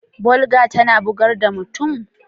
Gulder tana bugar da mutum?